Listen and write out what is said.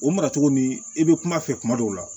O maracogo ni i bɛ kuma fɛ kuma dɔw la